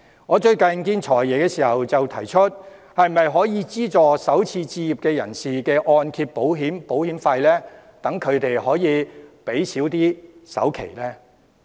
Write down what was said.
我最近與"財爺"見面時提到是否可以資助首次置業人士的按揭保費，讓他們可以減少首期的支出。